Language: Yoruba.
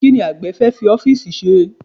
Kí ni àgbẹ̀ fẹ́ fi ọ́fíìsì ṣe?